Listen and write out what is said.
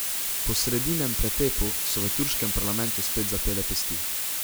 Po sredinem pretepu so v turškem parlamentu spet zapele pesti.